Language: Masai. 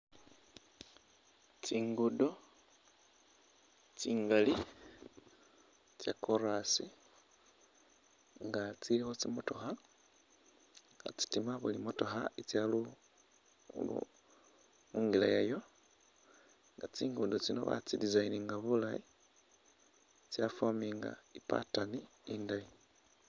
Tsiguddo tsingali tsa'chorus nga tsiilikho tsi'motoka khatsitima buli motookha itsa lu khu khuungila yayo nga tsiguddo tsino batsi'designinga bulaayi tsa'forminga i'patterner indayi